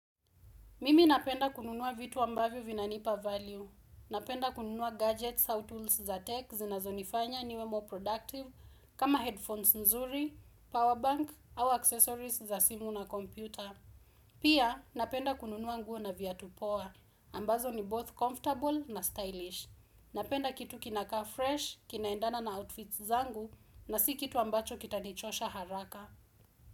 Mimi napenda kununua vitu ambavyo vinanipa value. Napenda kununua gadgets au tools za tech zinazo nifanya niwe more productive kama headphones nzuri, powerbank au accessories za simu na kompyuta. Pia napenda kununua nguo na viatu poa. Ambazo ni both comfortable na stylish. Napenda kitu kinaka fresh, kinaendana na outfits zangu na si kitu ambacho kita nichosha haraka.